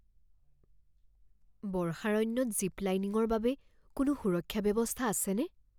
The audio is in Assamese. বৰ্ষাৰণ্যত জিপ লাইনিংৰ বাবে কোনো সুৰক্ষা ব্যৱস্থা আছেনে?